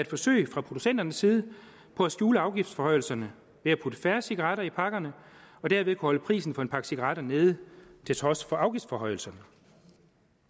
forsøg fra producenternes side på at skjule afgiftsforhøjelserne ved at putte færre cigaretter i pakkerne og derved kunne holde prisen på en pakke cigaretter nede til trods for afgiftsforhøjelser